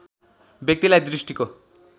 व्यक्तिलाई दृष्टिको